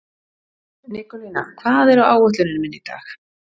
Nikólína, hvað er á áætluninni minni í dag?